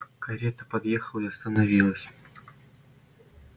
карета подъехала и остановилась